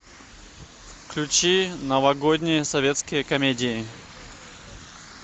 включи новогодние советские комедии